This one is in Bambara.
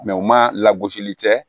u ma lagosili kɛ